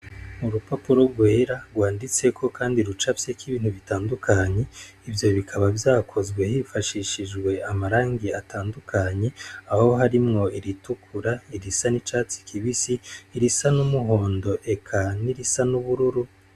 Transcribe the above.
Urupapuro rwera rwanditseko kandi rucafyeko ibintu bitandukanye ivyo bikaba vyakozwe hifashishijwe amarangi atandukanye aho harimwo iritukura, irisa n' icatsi kibisi, irisa n' umuhondo eka n' irisa n' ubururu.